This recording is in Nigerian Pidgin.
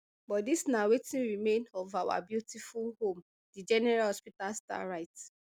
but dis na wetin remain of our beautiful home di general hospital star write